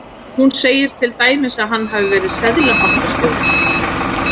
Hún segir til dæmis að hann hafi verið seðlabankastjóri.